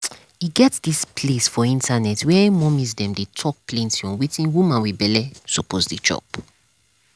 e get dis place for internet where mommies dem dey talk plenty on wetin woman wit belle suppose dey chop